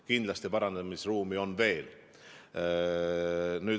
Kindlasti on parandamisruumi veel.